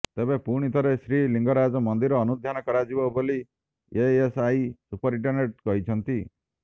ତେବେ ପୁଣି ଥରେ ଶ୍ରୀଲିଙ୍ଗରାଜ ମନ୍ଦିର ଅନୁଧ୍ୟାନ କରାଯିବ ବୋଲି ଏଏସ୍ଆଇ ସୁପରିଟେଣ୍ଡେଣ୍ଟ୍ କହିଛନ୍ତି